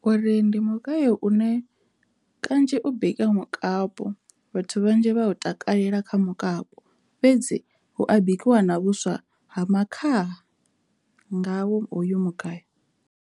Uri ndi mugayo une kanzhi u bika mukapi vhathu vhanzhi vha takalela kha mukapu fhedzi hu a bikiwa na vhuswa ha makhaha ngawo hoyu mugayo.